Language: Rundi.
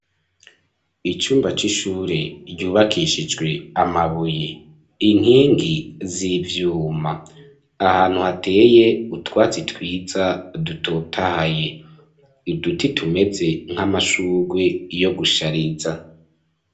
Icumba c'ishure ryubakishijwe amabuye, inkingi z'ivyuma, ahantu hateye utwatsi twiza dutotahaye, uduti tumeze nk'amashugwe yo gushariza.